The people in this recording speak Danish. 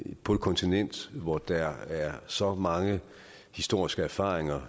på et kontinent hvor der er så mange historiske erfaringer